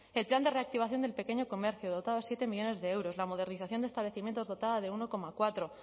el plan de reactivación del pequeño comercio dotado de siete millónes de euros la modernización de establecimientos dotada de uno coma cuatro